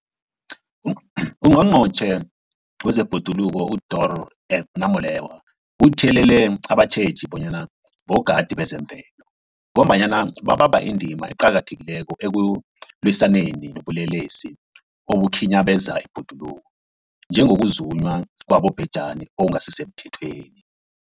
UNgqongqotjhe wezeBhoduluko uDorh Edna Molewa uthiyelele abatjheji bona bogadi bezemvelo, ngombana babamba indima eqakathekileko ekulwisaneni nobulelesi obukhinyabeza ibhoduluko, njengokuzunywa kwabobhejani okungasisemthethweni.